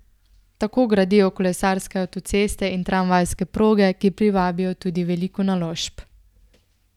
Tako gradijo kolesarske avtoceste in tramvajske proge, ki privabijo tudi veliko naložb.